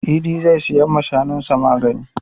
Idi zai siya wa shanun sa magani.